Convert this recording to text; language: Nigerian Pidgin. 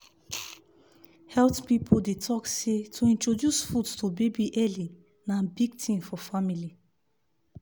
health people dey talk say to introduce food to baby early na big thing for family